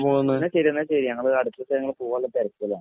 എന്നാൽ ശരി എന്നാൽ. അടുത്ത് ദിവസം ഞങ്ങൾ പോകാനുള്ള തിരക്കിലാണ്.